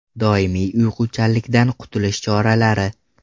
Doimiy uyquchanlikdan qutulish choralari.